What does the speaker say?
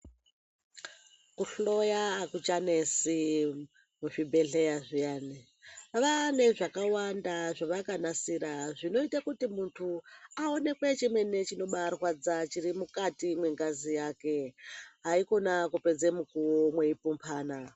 Kuhloya akuchanesi kuzvibhedhleya zviyani, vaane zvakawanda zvevakanisira zvinoite kuti muntuvawonekwe chemene chinobaarwadza chiri mukati mwengazi yake, haikona kupedze mukuwo mweipumphana.